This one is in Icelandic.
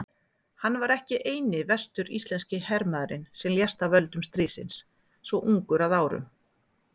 Hann var ekki eini vestur-íslenski hermaðurinn sem lést af völdum stríðsins svo ungur að árum.